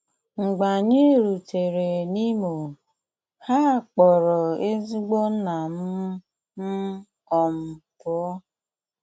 Mgbe anyị rutere n’Imo, ha kpọọrọ ezigbo nna m m um pụọ.